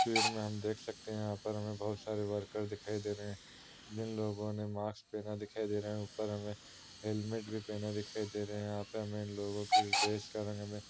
तस्वीर में हम देख सकते हैं यहाँ पर हमें बोहोत सारे वर्कर दिखाई दे रहे है जिन लोगो ने मास्क पहना दिखाई दे रहा हैं। ऊपर हमें हेलमेट भी पहना दिखाई दे रहा हैं। यहाँ पे हमें लोगो की ड्रेस का रंग में --